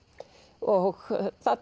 og